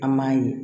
An m'a ye